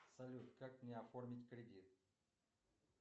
салют как мне оформить кредит